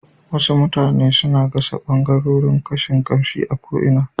Wasu mutane suna gasa ɓangarorin kashin kamshi a ko'ina